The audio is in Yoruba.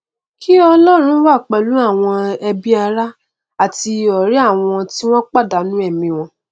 kí ọlọrun wà pẹlú àwọn ẹbí ará àti ọrẹ àwọn tí wọn pàdánù ẹmí wọn